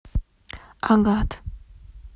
агат